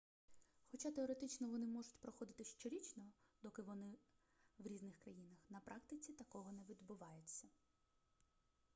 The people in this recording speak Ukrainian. хоча теоретично вони можуть проходити щорічно доки вони в різних країнах на практиці такого не відбувається